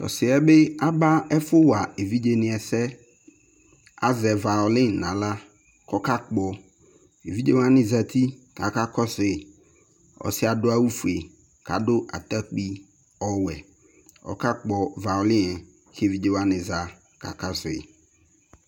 To ɔseɛ be aba ɛfowa evidze ne asɛ Azɛ vawolin no ala ko ɔka gbo Evidze wane zati ko aka kɔsoe Ɔseɛ ado awufue ko ado atakpi ɔwɛ, Ɔka gbɔ vawolin ne, ko evidze wane za ko aka sue